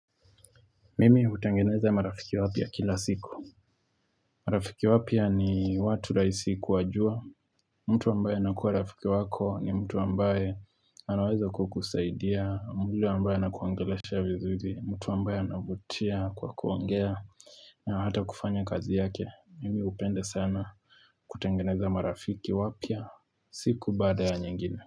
Mimi utangeneza marafiki wapia kila siku marafiki wapia ni watu rahisi kuwajua mtu wambaye nakuwa rafiki wako ni mtu wambaye anaweza kukusaidia mbili wambaye nakuongelesha vizuri mtu wambaye anavutia kwa kuongea na hata kufanya kazi yake, mimi upende sana kutengeneza marafiki wapia siku bada ya nyingine.